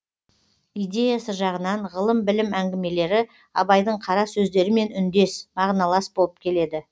идеясы жағынан ғылым білім әңгімелері абайдың қара сөздерімен үндес мағыналас болып келеді